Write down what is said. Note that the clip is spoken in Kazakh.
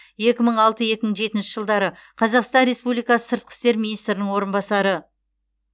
екі мың алты екі мың жетінші жылдары қазақстан республикасы сыртқы істер министрінің орынбасары